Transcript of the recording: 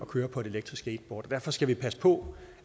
kører på et elektrisk skateboard og derfor skal vi passe på